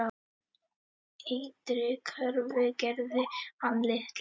Ytri kröfur gerði hann litlar.